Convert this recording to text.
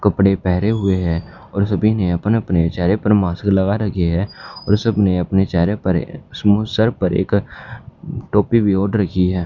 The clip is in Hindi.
कपड़े पहरे हुए हैं और सभी ने अपने-अपने चेहरे पर मास्क लगा रखी है और सब ने अपने चेहरे पर सर पर एक टोपी भी ओढ़ रखी है।